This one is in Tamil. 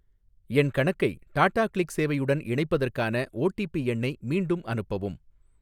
என் கணக்கை டாடாகிளிக் சேவையுடன் இணைப்பதற்கான ஓடிபி எண்ணை மீண்டும் அனுப்பவும்.